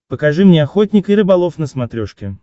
покажи мне охотник и рыболов на смотрешке